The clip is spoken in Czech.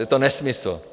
Je to nesmysl.